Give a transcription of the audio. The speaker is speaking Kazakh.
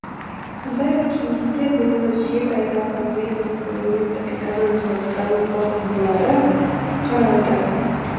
сондай ақ кеңесте биылғы жеті айдағы еліміздің әлеуметтік экономикалық даму қорытындылары қаралды